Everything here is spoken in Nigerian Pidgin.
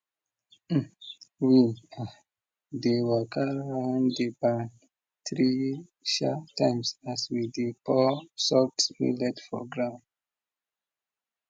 we um dey waka round the barn three sha times as we dey pour soaked millet for ground